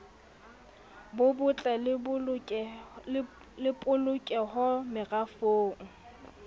bo botle le polokeho merafong